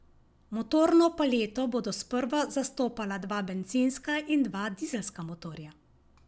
Motorno paleto bodo sprva zastopala dva bencinska in dva dizelska motorja.